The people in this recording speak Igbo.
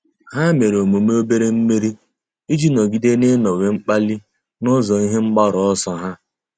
Há mèrè emume obere mmeri iji nọ́gídé n’ị́nọ́wé mkpali n’ụ́zọ́ ihe mgbaru ọsọ ha.